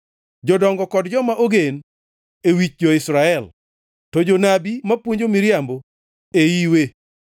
jodongo kod joma ogen e wich jo-Israel, to jonabi mapuonjo miriambo e iwe.